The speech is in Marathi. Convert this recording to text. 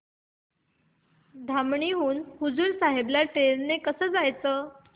धामणी हून हुजूर साहेब ला ट्रेन ने कसं जायचं